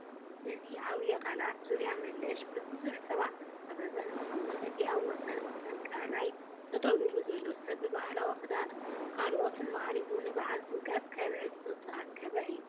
እዚ ዓብዪ ቃላይ ዙርያ መለሽ ብብዙሓት ሰባት ዝተከበበ እንትኸውን እቲ ኣብ ወሰን ወሰን ቃላይ ጠጠው ኢሉ ዘሎ ሰብ ብባህላዊ ክዳንን ካልኦትን ማዕሪጉ ንበዓል ጥምቀት ከብዕል ዝተኣከበ እዩ፡፡